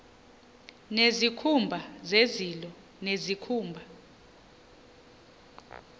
nezikhumba zezilo nezikhumba